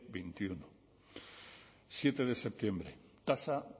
veintiuno siete de septiembre tasa